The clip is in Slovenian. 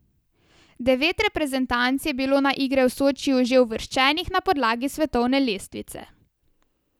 Devet reprezentanc je bilo na igre v Sočiju že uvrščenih na podlagi svetovne lestvice.